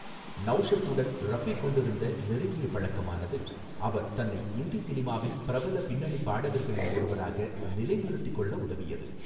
நௌஷத் உடன் ரஃபி கொண்டிருந்த நெருங்கிய பழக்கமானது அவர் தன்னை இந்தி சினிமாவின் பிரபல பின்னணி பாடகர்களில் ஒருவராக நிலைநிறுத்திக் கொள்ள உதவியது.